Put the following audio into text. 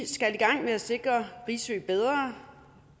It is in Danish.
gang med at sikre risø bedre